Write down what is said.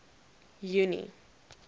junie